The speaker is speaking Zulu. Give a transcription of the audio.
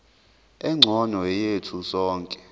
engcono yethu sonke